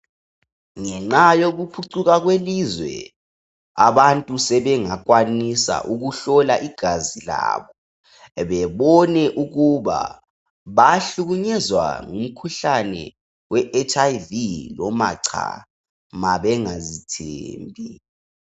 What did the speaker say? Ngenxa yokuphucuka kwelizwe abantu sebengakwanisa ukuhlola igazi labo bebone ukuba bahlukunyezwa ngumkhuhlane we HIV noma cha bengazithembi